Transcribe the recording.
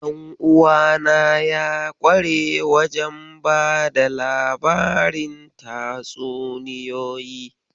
Ɗanuwana ya kware wajen bada labarin tatsuniyoyi.